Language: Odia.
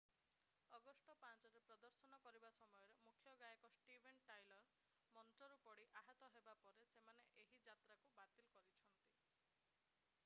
ଅଗଷ୍ଟ 5 ରେ ପ୍ରଦର୍ଶନ କରିବା ସମୟରେ ମୁଖ୍ୟ ଗାୟକ ଷ୍ଟିଭେନ୍ ଟାଇଲର ମଞ୍ଚରୁ ପଡି ଆହତ ହେବା ପରେ ସେମାନେ ଏହି ଯାତ୍ରାକୁ ବାତିଲ କରିଛନ୍ତି